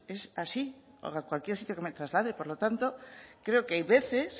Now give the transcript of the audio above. es así a cualquier sitio que me traslade por lo tanto creo que hay veces